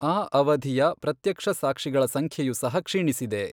ಆ ಅವಧಿಯ ಪ್ರತ್ಯಕ್ಷಸಾಕ್ಷಿಗಳ ಸಂಖ್ಯೆಯು ಸಹ ಕ್ಷೀಣಿಸಿದೆ.